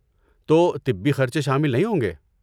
تو طبی خرچے شامل نہیں ہوں گے؟